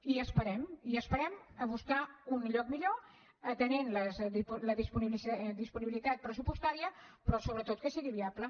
i esperem i esperem a buscar un lloc millor atenent la disponibilitat pressupostària però sobretot que sigui viable